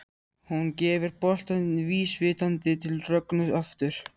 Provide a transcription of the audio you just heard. Hún gefur boltann vísvitandi til Rögnu aftur.